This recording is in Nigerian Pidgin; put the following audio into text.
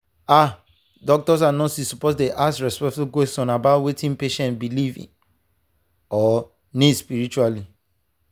ah doctors and nurses suppose dey ask respectful questions about wetin patient believe or need spiritually.